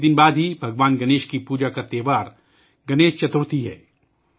کچھ ہی دنوں بعد بھگوان گنیش کی پوجا کا تہوار گنیش چترتھی ہے